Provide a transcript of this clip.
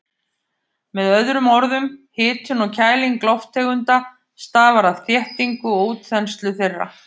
Með öðrum orðum, hitun og kæling lofttegunda stafar af þéttingu og útþenslu þeirra.